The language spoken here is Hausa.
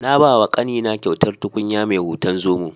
Na bawa ƙanina kyautar tukunya mai hoton zomo.